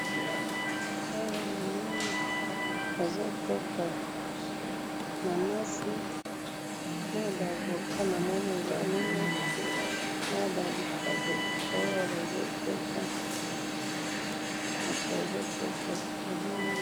Awa namoni bazoteka nanasi, naba avocat namoni eza mine, nababitabe oyo bazoteka, mutu azoteka namoni